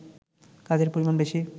কাজের পরিমাণ বেশি